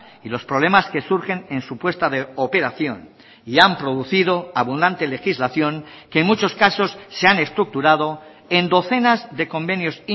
y los problemas que surgen en su puesta de operación y han producido abundante legislación que en muchos casos se han estructurado en docenas de convenios